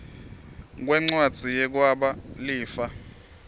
kwencwadzi yekwaba lifa